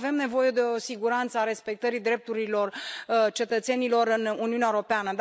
Avem nevoie de o siguranță a respectării drepturilor cetățenilor în Uniunea Europeană.